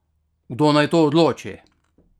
Kdo naj to odloči?